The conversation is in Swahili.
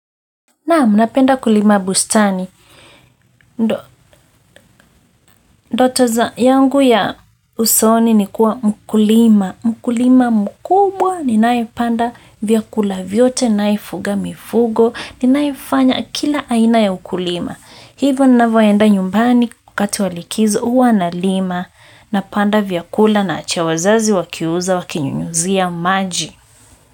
Naam, napenda kulima bustani. Ndo, ndoto za yangu ya usoni ni kuwa mkulima. Mkulima mkubwa, ninayepanda vyakula vyote, ninayefuga mifugo, ninayefanya kila aina ya ukulima. Hivyo, ninavyoenda nyumbani wakati wa likizo huwa nalima. Napanda vyakula naachia wazazi wakiuza wakinyunyuzia maji.